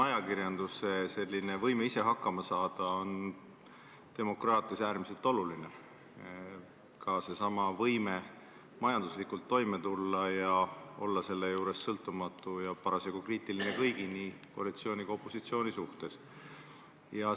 Ajakirjanduse võime ise hakkama saada on demokraatias äärmiselt oluline, ka seesama võime majanduslikult toime tulla ja olla selle juures sõltumatu ja parasjagu kriitiline kõigi, nii koalitsiooni kui ka opositsiooni suhtes.